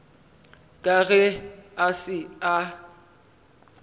ka ge a se a